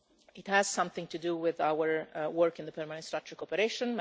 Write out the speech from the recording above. It has something to do with our work in the Permanent Structured Cooperation.